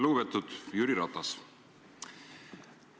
Lugupeetud Jüri Ratas!